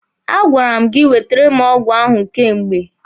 A gwara m gị wetere m ọgwụ ahụ kemgbe!